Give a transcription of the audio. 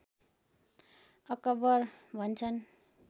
acquire भन्छन्